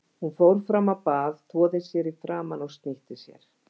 Hún fór fram á bað, þvoði sér í framan og snýtti sér.